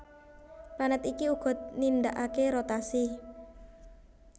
Planèt iki uga nindakaké rotasi